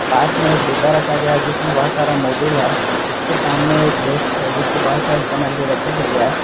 पास मे एक डिब्बा रखा गया है जिसमें बहोत सारा मोबिल है उसके सामने एक डेस्क है जिस पे बहोत सारी सामग्री रखी गई है।